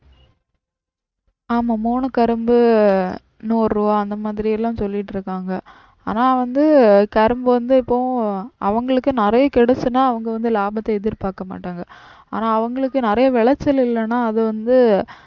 ஆமா மூனு கரும்பு நூறு ரூபா அந்த மாதிரிலாம் சொல்லிட்டிருக்காங்க. ஆனா வந்து கரும்பு வந்து எப்பவும் அவங்களுக்கு நிறைய கிடச்சிடுச்சுனா அவங்க வந்து லாபத்தை எதிர்பாக்க மாட்டாங்க. ஆனா அவங்களுக்கு நிறைய விளைச்சல் இல்லேன்னா அது வந்து